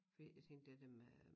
Fordi jeg tænkte det dér med